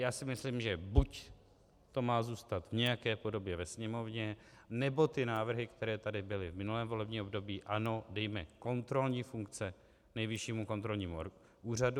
Já si myslím, že buď to má zůstat v nějaké podobě ve Sněmovně, nebo ty návrhy, které tady byly v minulém volebním období, ano, dejme kontrolní funkce Nejvyššímu kontrolnímu úřadu.